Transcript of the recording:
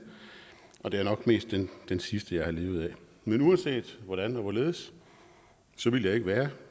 og det er nok mest den sidste jeg har levet af men uanset hvordan og hvorledes ville jeg ikke være